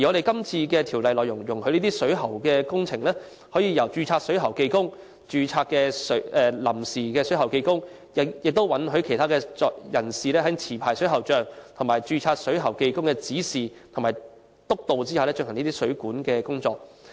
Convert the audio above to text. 今次的《條例草案》修訂是，容許水管工程由註冊水喉技工、註冊水喉技工及其他人士在持牌水喉匠或註冊水喉技工的指示和督導下進行水管工程。